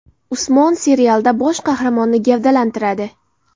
Usmon” serialida bosh qahramonni gavdalantiradi.